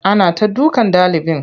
Ana ta dukan ɗalibin.